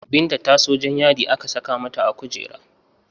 Binta ta so Jan yadi aka saka mata a kujera